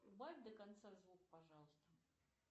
убавь до конца звук пожалуйста